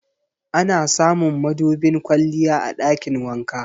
Ana samun madubin kwalliya a ɗakin wanka.